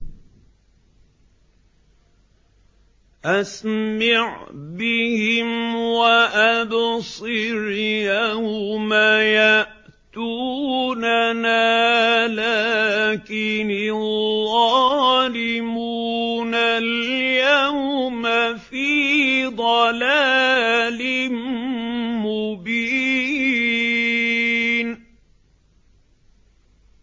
أَسْمِعْ بِهِمْ وَأَبْصِرْ يَوْمَ يَأْتُونَنَا ۖ لَٰكِنِ الظَّالِمُونَ الْيَوْمَ فِي ضَلَالٍ مُّبِينٍ